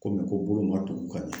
Komi ko bolo ma tugu ka ɲan.